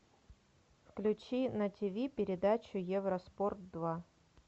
включи на тв передачу евроспорт два